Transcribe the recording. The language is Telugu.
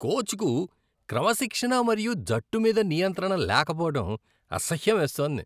కోచ్కు క్రమశిక్షణ మరియు జట్టు మీద నియంత్రణ లేకపోవడం అసహ్యమేస్తోంది.